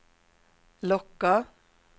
locka